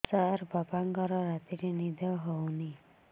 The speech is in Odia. ସାର ବାପାଙ୍କର ରାତିରେ ନିଦ ହଉନି